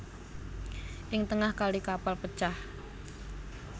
Ing tengah kali kapal pecah